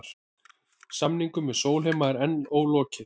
Samningum við Sólheima er enn ólokið